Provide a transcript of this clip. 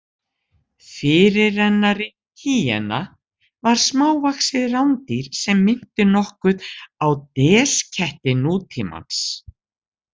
Fyrirrennari hýena var smávaxið rándýr sem minnti nokkuð á desketti nútímans.